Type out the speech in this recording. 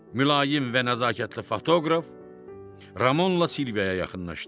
Mülayim və nəzakətli fotoqraf Ramonla Silviyaya yaxınlaşdı.